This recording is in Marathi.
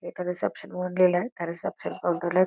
इथं रिसेप्शन म्हणू लिहिलय रिसेप्शन काउंटर ला--